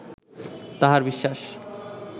তাঁহার বিশ্বাস